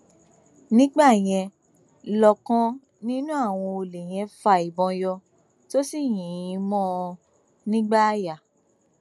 nígbà yẹn lọkàn nínú àwọn olè yẹn fa ìbọn yọ tó sì yìn ín mọ ọ nígbáàyà